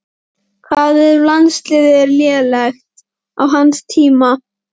Hvað ef landsliðið er lélegt á hans tíma?